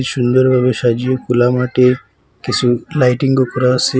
সুন্দরভাবে সাজিয়ে খুলা মাঠে কিছু লাইটিংও করা আছে।